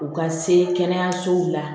U ka se kɛnɛyasow la